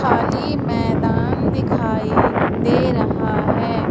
खाली मैदान दिखाई दे रहा है।